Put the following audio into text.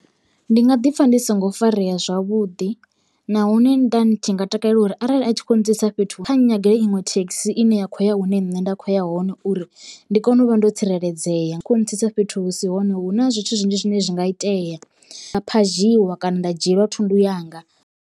Ndi nga ḓi pfha ndi songo farea zwavhuḓi nahone nda ndi tshi nga takalela uri arali a tshi kho ntsitsa fhethu kha nyagele iṅwe thekhisi ine ya khou ya hune nṋe nda kho ya hone, uri ndi kone u vha ndo tsireledzea khau ntsitsa fhethu hu si hone hu na zwithu zwinzhi zwine zwi nga itea phadzhiwa kana nda dzhielwa thundu yanga.